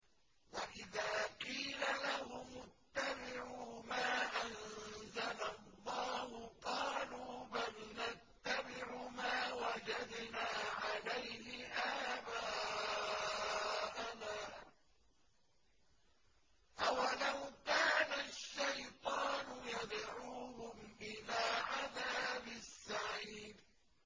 وَإِذَا قِيلَ لَهُمُ اتَّبِعُوا مَا أَنزَلَ اللَّهُ قَالُوا بَلْ نَتَّبِعُ مَا وَجَدْنَا عَلَيْهِ آبَاءَنَا ۚ أَوَلَوْ كَانَ الشَّيْطَانُ يَدْعُوهُمْ إِلَىٰ عَذَابِ السَّعِيرِ